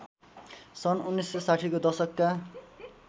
सन् १९६० को दशकका